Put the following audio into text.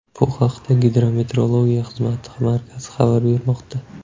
Bu haqda Gidrometeorologiya xizmati markazi xabar bermoqda .